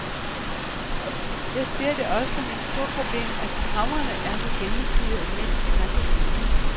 Jeg ser det også som et stort problem, at kamrene er så gennemsivede af mænds tankevaner.